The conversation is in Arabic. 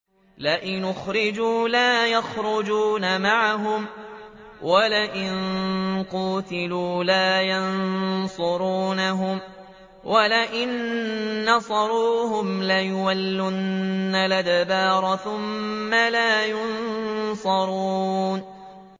لَئِنْ أُخْرِجُوا لَا يَخْرُجُونَ مَعَهُمْ وَلَئِن قُوتِلُوا لَا يَنصُرُونَهُمْ وَلَئِن نَّصَرُوهُمْ لَيُوَلُّنَّ الْأَدْبَارَ ثُمَّ لَا يُنصَرُونَ